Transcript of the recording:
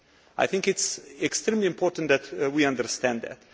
I think it is extremely important that we understand